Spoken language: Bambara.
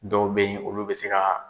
Dɔw bɛ yen olu bɛ se ka